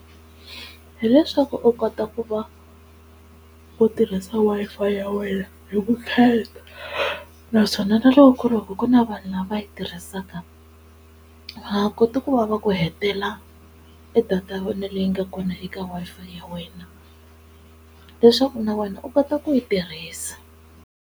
Hi leswaku u kota ku va u tirhisa Wi-Fi ya wena hi vukheta naswona na loko ku ri ku na vanhu lava yi tirhisaka va nga koti ku vava ku hetela e data ya wena leyi nga kona eka Wi-Fi ya wena leswaku na wena u kota ku yi tirhisa.